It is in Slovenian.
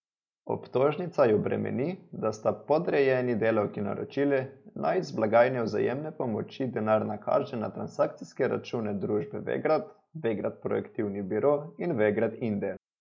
Obtožnica ju bremeni, da sta podrejeni delavki naročili, naj iz blagajne vzajemne pomoči denar nakaže na transakcijske račune družb Vegrad, Vegrad Projektivni biro in Vegrad Inde.